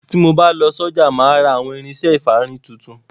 Tí mo bá lọ sọ́jà máa ra àwọn irinṣẹ́ ìfárí tuntun.